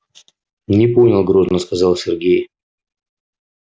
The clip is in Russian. не понял грозно сказал сергей